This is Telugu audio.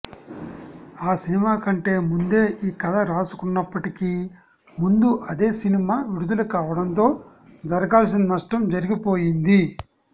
ఆ సినిమా కంటే ముందే ఈ కథ రాసుకున్నప్పటికీ ముందు అదే సినిమా విడుదల కావడంతో జరగాల్సిన నష్టం జరిగిపోయింది